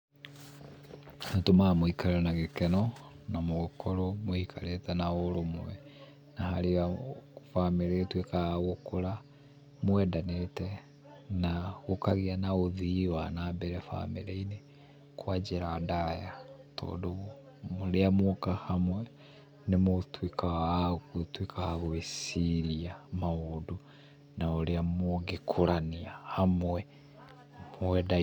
Nĩũtũmaga mũikare na gĩkeno na mũkorwo mũikarĩte na ũrũmwe, na harĩa bamĩrĩ ĩtuĩkaga gũkũra mwendanĩte na gũkagĩa na ũthii wa wana mbere bamĩrĩ-inĩ kwa njĩra ndaya. Tondũ rĩrĩa mwoka hamwe nĩmũtuĩkaga agũtuĩka agũĩciria maũndũ na ũrĩa mũngĩkũrania hamwe mwendaine.